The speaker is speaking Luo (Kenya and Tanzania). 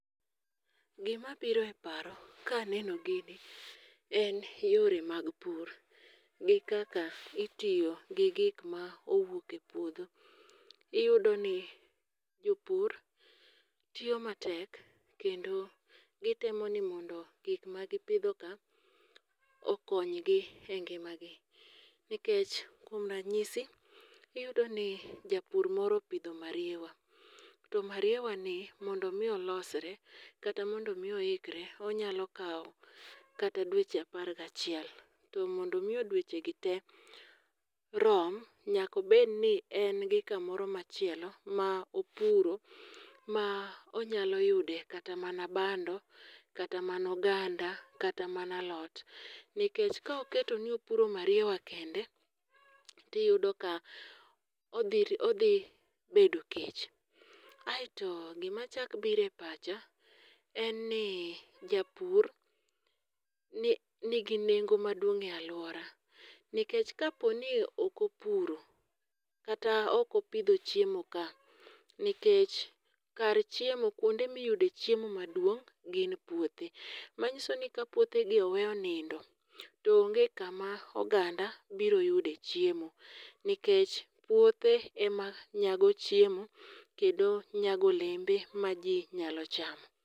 Gimabiro e paro kaneno gini en yore mag pur, gi kaka itiyo gi gik ma owuok e puodho. Iyudoni jopur tiyo matek kendo gitemo ni mondo gik ma gipidhoka okonygi e ngimagi. Nikech kuom ranyisi iyudoni japur moro opidho mariewa, to mariewani mondo omi olosre kata mondo omi oikre onyalo kawo kata dweche apar gi achiel to mondo omi dwechegi rom, nyaka obedni en gi kamoro machielo ma opuro ma onyalo yude kata mana bando, kata mana oganda, kata mana a lot. Nikech ka oketi ni opuro mariewa kende tiyudo ka odhi odhi bedo kech. Aeto gimachako biro e pacha en ni japur nigi nengo maduong' e alwora. Nikech kaponi ok opuro kata ok opidho chiemoka, nikech kar chiemo kwonde miyude chiemo maduong' gin puothe. Manyiso ni ka puothegi owe onindo to onge kama oganda biro yude chiemo. Nikech puothe ema nyago chiemo kendo ema nyago olembe ma ji nyalo chamo.